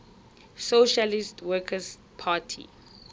socialist workers party